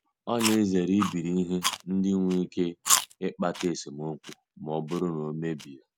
Ọ na-ezere ibiri ihe ndị nwere ike ịkpata esemokwu ma ọ bụrụ na e mebie ya.